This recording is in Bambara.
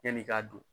Yan'i k'a don